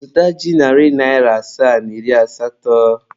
Zụta ji narị naịra asaa na iri asatọ.